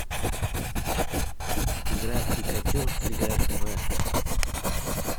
игра пикачу сыграть в